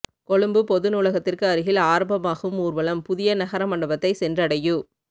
கொழும்பு பொது நூலகத்திற்கு அருகில் ஆரம்பமாகும் ஊர்வலம் புதிய நகர மண்டபத்தை சென்றடையு